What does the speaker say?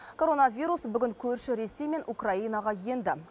коронавирус бүгін көрші ресей мен украинаға енді